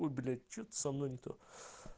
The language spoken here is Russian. ой блять что-то со мной не то